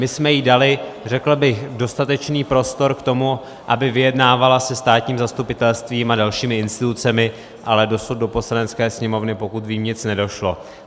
My jsme jí dali, řekl bych, dostatečný prostor k tomu, aby vyjednávala se státním zastupitelstvím a dalšími institucemi, ale dosud do Poslanecké sněmovny, pokud vím, nic nedošlo.